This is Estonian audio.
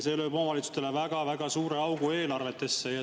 See lööb omavalitsustele väga-väga suure augu eelarvetesse.